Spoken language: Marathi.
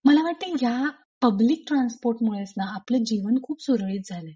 मला वाटते ह्या पब्लिक ट्रान्सपोर्ट मुळेच आपले जीवन खूप सुरळीत झालय.